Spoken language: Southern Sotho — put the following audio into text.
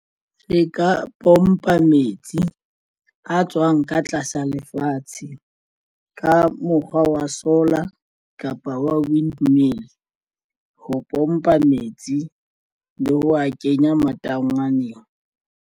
Re ka pompa metsi a tswang ka tlasa lefatshe ka mokgwa wa solar kapa windmill ho pompa metsi le wa kenya matangwaneng.